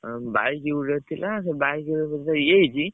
ଆଉ bike ଗୋଟେ ଥିଲା ସେ bike ରେ ବୋଧେ ଇଏ ହେଇଛି।